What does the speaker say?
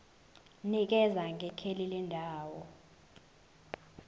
nikeza ngekheli lendawo